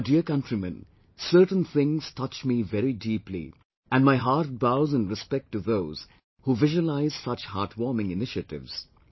My dear countrymen, certain things touch me very deeply and my heart bows in respect to those who visualize such heartwarming initiatives